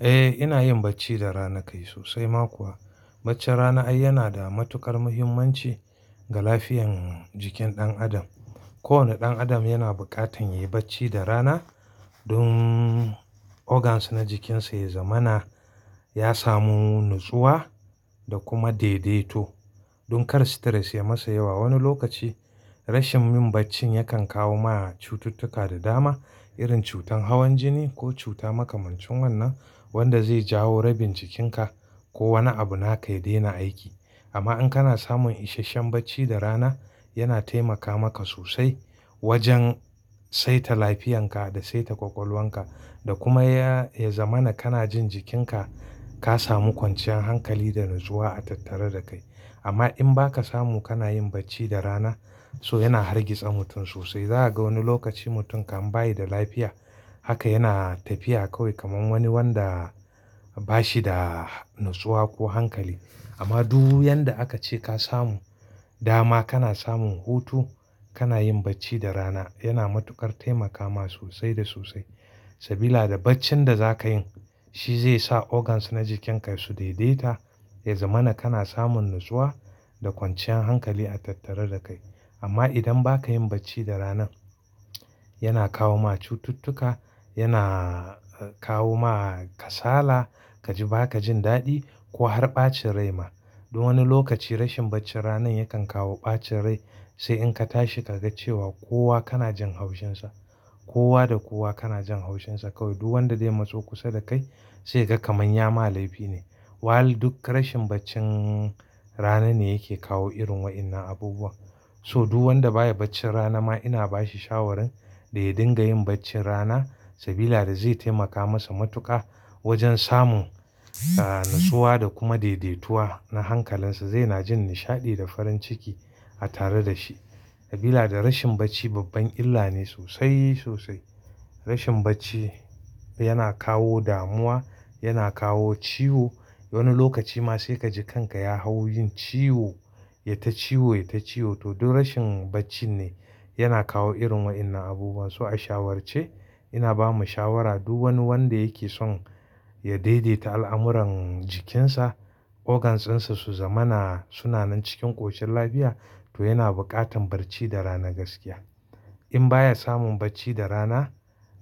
Eh ina yin bacci da rana kai sosai ma kuwa. Baccin rana ai yana da matuƙar muhimmanci ga lafiyan jikin ɗan adam. Kowane ɗan adam yana buƙatan yayi bacci da rana don organs na jikinsa ya zamana, ya samu natsuwa, da kuma daidaito. Don kar stress ya masa yawa. Wani lokaci rashin yin baccin yakan kawo ma cututtuka da dama irin cutar hawan jini ko cuta makamancin wannan wanda zai jawo rabin jikinka ko wani abu naka ya daina aiki. Amma in kana samun isasshen bacci da rana yana taimaka maka sosai wajen saita lafiyanka da saita ƙwaƙwalwanka. Da kuma ya, ya zamana kana jin jikinka ka samu kwanciyan hankali da natsuwa a tattare da kai. Amma in baka samu kana yin bacci da rana so yana hargitsa mutum sosai. Za a ga wani lokaci mutum kan bayi da lafiya haka yana tafiya kawai kamar wani wanda bashi da natsuwa ko hankali. Amma du yanda aka ce ka samu dama kana samun hutu, kana yin bacci da rana yana matuƙar taimaka ma sosai da sosai. Sabila da baccin da za ka yin shi zai sa organs na jikinka su daidaita, ya zamana kana samun natsuwa da kwanciyan hankali a tattare da kai. Amma idan baka yin bacci da rana yana kawo ma cututtuka, yana kawo ma kasala, kaji baka jin daɗi ko har ɓacin rai ma. Dun wani lokaci rashin bacci ranan yakan kawo ɓacin rai. Sai in ka tashi kaga cewa kowa kana jin haushinsa. Kowa da kowa kana jin haushinsa kawai. Du wanda zai matso kusa da kai sai ka ga kaman ya ma laifi ne. While duk rashin baccin rana ne yake kawo irin wa'innan abubuwan. So du wanda baya bacci rana ma ina bashi shawarin da ya dinga yin bacci rana sabila da zai taimaka masa matuƙa wajen samun ah natsuwa da kuma daidaituwa na hankalinsa. Zai na jin nishaɗi da farin ciki a tare da shi. Sabila da rashin bacci babban illa ne sosai, sosai. Rashin bacci yana kawo damuwa, yana kawo ciwo. Wani lokaci ma sai ka ji kanka ya hau yin ciwo, ya ta ciwo, ya ta ciwo to duk rashin baccin ne yana kawo irin wa'innan abubuwan. So a shawarce ina ba mu shawara du wani wanda yake son ya daidaita al'amuran jikinsa, organs din sa su zamana suna nan cikin ƙoshin lafiya to yana buƙatan barci da rana gaskiya. In baya samun bacci da rana